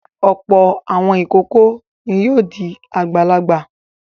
Ọ̀pọ̀ àwọn ìkókó ni yóò di àgbàlagbà.